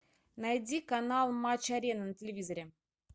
найди канал матч арена на телевизоре